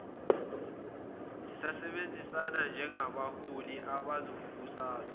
sisebenzisana njengabaholi bezombusazwe